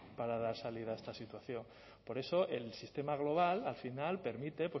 para dar salida a esta situación por eso el sistema global al final permite